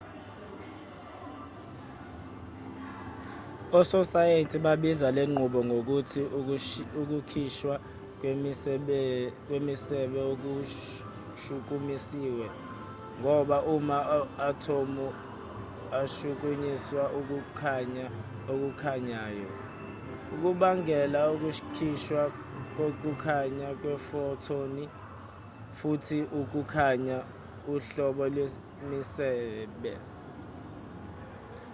ososayenzi babiza lenqubo ngokuthi ukukhishwa kwemisebe okushukumisiwe ngoba ama-athomu ashukunyiswa ukukhanya okukhanyayo okubangela ukukhishwa kokukhanya kwefothoni futhi ukukhanya uhlobo lwemisebe